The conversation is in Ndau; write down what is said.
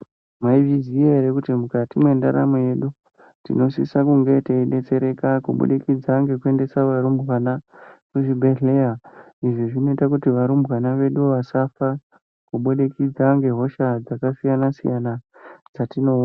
Maizviziya here kuti mukati mendaramo yedu tinosisa kunge teidetsereka kubudikidza nekuendesa varumbwana muzvibhedlera izvi zvinoita kuti varumbwana vedu vasafa kubudikidza nehosha dzakasiyana siyana dzatinoona.